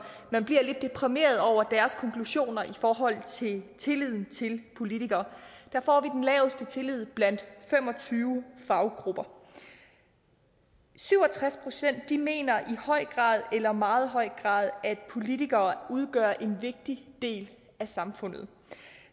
man bliver lidt deprimeret over deres konklusioner i forhold til tilliden til politikere der får vi den laveste tillid blandt fem og tyve faggrupper syv og tres procent mener i høj grad eller i meget høj grad at politikere udgør en vigtig del af samfundet